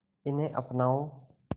इन्हें अपनाओ